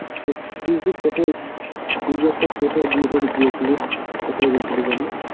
তা তুই যে কোথায় তুই যে একটা কোথায় বিয়ে বাড়ি গিয়েছিলিস? কোথায় গিয়েছিলিস যেন?